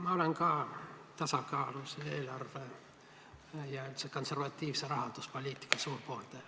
Ma olen tasakaalus eelarve ja üldiselt konservatiivse rahanduspoliitika suur pooldaja.